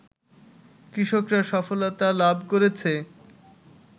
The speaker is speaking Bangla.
কৃষকরা সফলতা লাভ করেছে